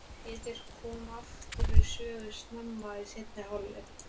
Pétur kom aftur við sögu snemma í seinni hálfleik.